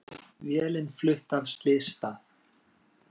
Vélin flutt af slysstað